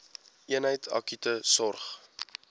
eenheid akute sorg